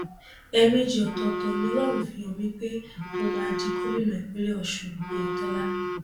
ẹẹmejì ọtọọtọ ni ọlọrun fi hàn mí pé mo máa di gómìnà ìpínlẹ ọsun ọyẹtọlá